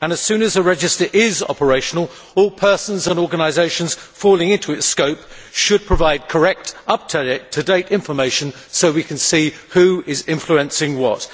and, as soon as the register is operational, all persons and organisations falling into its scope should provide correct, up to date information so we can see who is influencing what.